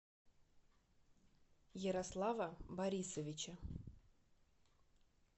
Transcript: ярослава борисовича